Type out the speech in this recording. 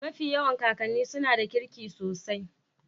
mafi yawan kakan'nu suna da kirki sosai